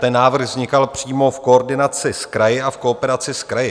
Ten návrh vznikal přímo v koordinaci s kraji a v kooperaci s kraji.